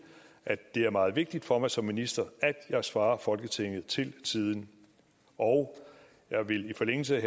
at det er meget vigtigt for mig som minister at jeg svarer folketinget til tiden og jeg vil i forlængelse